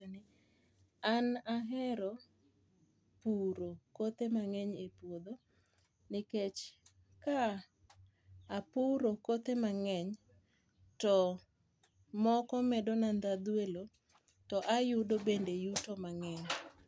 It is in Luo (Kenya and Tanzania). An ahero puro kothe mang'eny e puodho nikech ka apuro kothe mang'eny to moko medo na dhadhu e lo to ayudo bende yuto mang'eny.